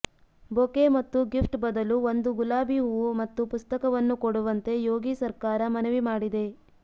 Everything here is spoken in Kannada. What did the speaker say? ಬೊಕೆ ಮತ್ತು ಗಿಫ್ಟ್ ಬದಲು ಒಂದು ಗುಲಾಬಿ ಹೂವು ಮತ್ತು ಪುಸ್ತಕವನ್ನು ಕೊಡುವಂತೆ ಯೋಗಿ ಸರ್ಕಾರ ಮನವಿ ಮಾಡಿದೆ